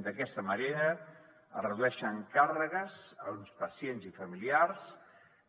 d’aquesta manera es redueixen càrregues a uns pacients i familiars